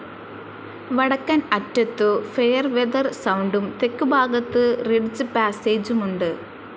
വടക്കൻ അറ്റത്തു ഫെയർവെതർ സൗണ്ടും തെക്കുഭാഗത്തു റിഡ്ജ്പാസ്സേജുമുണ്ട്.